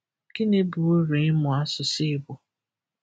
Gịnị bụ uru ịmụ asụsụ Igbo?